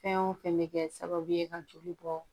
Fɛn o fɛn bɛ kɛ sababu ye ka joli bɔ